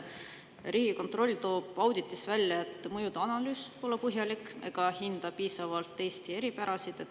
Riigikontroll toob auditis välja, et mõjude analüüs pole põhjalik ega hinda piisavalt Eesti eripärasid.